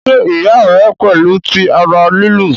ṣe iya rẹ pẹlu ti ara lilu?